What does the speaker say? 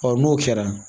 n'o kɛra